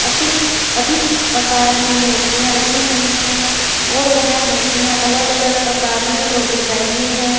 अतीक अधिक आकार में मूर्तियां रखी हुई हैं और वह मूर्तियां अलग अलग आकार में और डिजाइन में हैं।